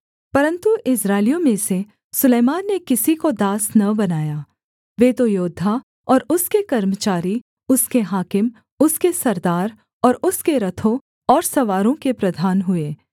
परन्तु इस्राएलियों में से सुलैमान ने किसी को दास न बनाया वे तो योद्धा और उसके कर्मचारी उसके हाकिम उसके सरदार और उसके रथों और सवारों के प्रधान हुए